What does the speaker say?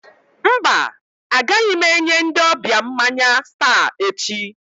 Mba, agaghị m enye ndị ọbịa mmanya Star echi.